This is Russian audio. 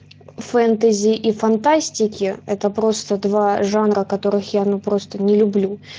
фэнтези и фантастики это просто два жанра которых я ну просто не люблю